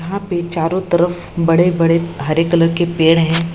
यहाँ पे चारों तरफ बड़े-बड़े हरे कलर के पेड़ हैं।